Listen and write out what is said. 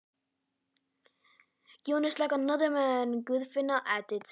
Hann Jón er eins og annar maður, bætti Guðfinna við.